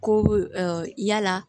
Ko yala